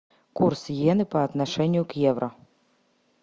курс йены по отношению к евро